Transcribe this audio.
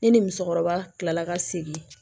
Ne ni musokɔrɔba kilala ka segin